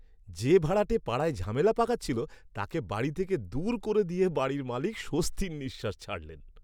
যে ভাড়াটে পাড়ায় ঝামেলা পাকাচ্ছিল তাকে বাড়ি থেকে দূর করে দিয়ে বাড়ির মালিক স্বস্তির নিঃশ্বাস ছাড়লেন!